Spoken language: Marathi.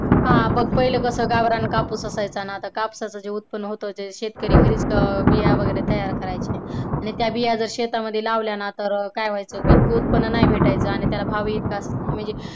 हा बघ पहिला कसा गावरान कापूस असायचा ना? आता कापसाचे उत्पन्न होतं जे शेतकरी घरीच बिया वगैरे तयार करायचे आणि त्या बिया जर शेतामध्ये लावल्याना की काय व्हायचं ना तर इतक उत्पन्न नाय त्याला भेटायचं आणि त्याला भाव जास्त नसायचा.